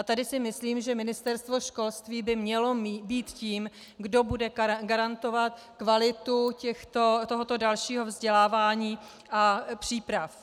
A tady si myslím, že Ministerstvo školství by mělo být tím, kdo bude garantovat kvalitu tohoto dalšího vzdělávání a příprav.